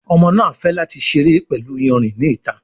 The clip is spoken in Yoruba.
Ọmọ náa fè láti seré pẹlú iyanrìn ní ìta.